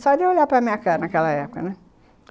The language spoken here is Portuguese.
Só de eu olhar para minha cara naquela época, né.